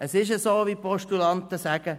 Es ist so, wie die Postulanten sagen: